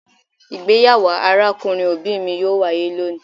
Igbeyawo arakunrin obi mi yoo waye loni